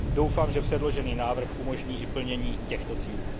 Doufám, že předložený návrh umožní i plnění těchto cílů.